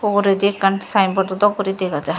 ugurendi ekkan sign boardo dok guri dega jar.